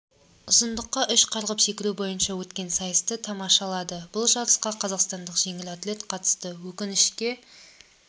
ұзындыққа үш қарғып секіру бойынша өткен сайысты тамашалады бұл жарысқа қазақстандық жеңіл атлет қатысты өкінішке